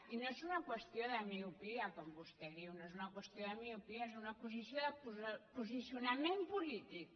i no és una qüestió de miopia com vostè diu no és una qüestió de miopia és una qüestió de posicionament polític